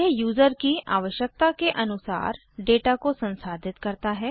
यह यूज़र की आवश्यकता के अनुसार डेटा को संसाधित करता है